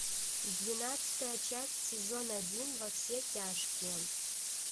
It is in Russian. двенадцатая часть сезон один во все тяжкие